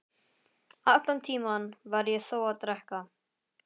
Allan tímann var ég þó að drekka.